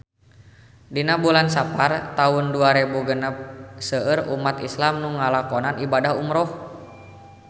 Dina bulan Sapar taun dua rebu genep seueur umat islam nu ngalakonan ibadah umrah